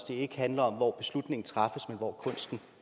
det ikke handler om hvor beslutningen træffes men hvor kunsten